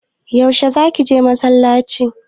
Yaushe za ka je masallaci?